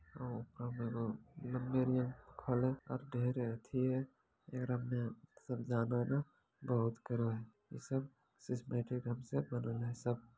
ओकरो में न खड़े कर दे रही थी एकरा में न सब जाना ना बहुत करवेहे सिस्टमैटिक ढंग से बनल है सब।